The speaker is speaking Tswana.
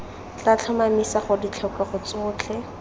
tla tlhomamisa gore ditlhokego tsotlhe